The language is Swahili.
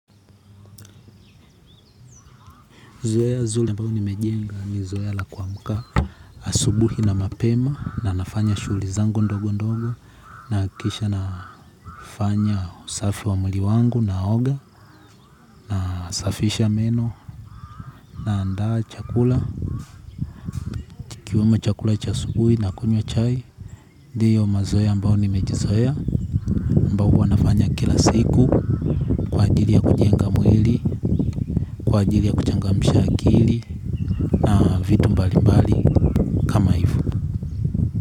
Zoea zuli ambao nimejenga ni zoea lakuamuka asubuhi na mapema na nafanya shugli zangu ndogo ndogo na kisha nafanya usafi wa muli wangu na oga na safisha meno naandaa chakula, ikiwemo chakula chasubuhi na kunywa chai, diyo mazoea ambao nimejizoea mbao wana saiku, jiri ya kujenga mwili, kwa ajiri ya kuchangamsha akili mbali mbali.